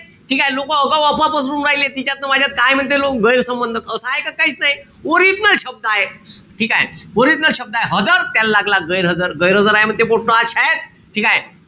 ठीकेय? लोक आगाऊ अफवा पसरू राहिले. तिच्यात न माझ्यात काये म्हणते लोक? गैरसंबंध. असं आहे का? काईच नाई. Original शब्द हाये. ठीकेय? Original शब्द हाये हजर, त्याल लागला गैरहजर आहे म्हणत पोट्ट आज शायेत. ठीकेय?